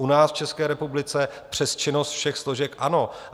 U nás v České republice přes činnost všech složek ano.